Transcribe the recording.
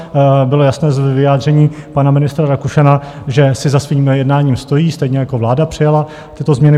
Bylo jasné z vyjádření pana ministra Rakušana, že si za svým jednáním stojí, stejně jako vláda přijala tyto změny.